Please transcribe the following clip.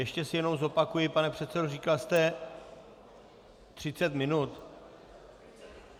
Ještě si jenom zopakuji, pane předsedo, říkal jste 30 minut?